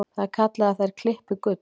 Það er kallað að þær klippi gull.